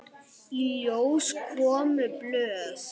Í ljós komu blöð.